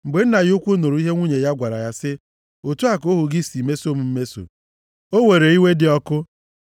Mgbe nna ya ukwu nụrụ ihe nwunye ya gwara ya sị, “Otu a ka ohu gị si meso m mmeso,” o were iwe dị ọkụ.